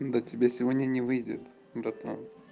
до тебя сегодня не выйдет братан